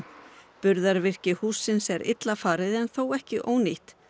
burðarvirki hússins er illa farið en þó ekki ónýtt